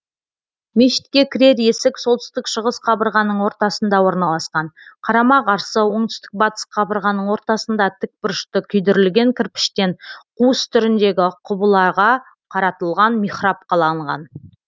мешітке кірер есік солтүстік шығыс қабырғаның ортасында орналасқан қарама қарсы оңтүстік батыс қабырғаның ортасында тікбұрышты күйдірілген кірпіштен қуыс түріндегі құбылаға қаратылған михраб қаланған